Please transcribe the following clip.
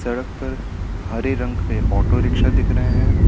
सड़क पर हरे रंग के ऑटो रिक्शा दिख रहे हैं।